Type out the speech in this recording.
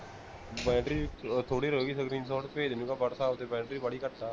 battery ਥੋੜੀ ਰਹਿ ਗਈ screenshot ਭੇਜ ਤੇ ਓਹਨੂੰ whatsapp ਤੇ ਬੈਟਰੀ ਬਾਲੀ ਘੱਟ ਹੈ